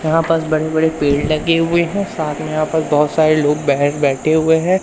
यहां पास बड़े बड़े पेड़ लगे हुए हैं साथ में यहां पर बहोत सारे लोग बाहेर बैठे हुए हैं।